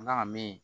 N nana me